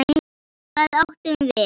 Hvað átum við?